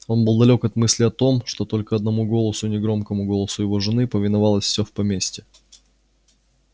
он был далёк от мысли о том что только одному голосу негромкому голосу его жены повиновалось всё в поместье